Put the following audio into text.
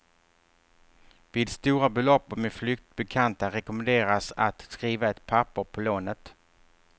Vid stora belopp och med flyktigt bekanta rekommenderas att skriva ett papper på lånet.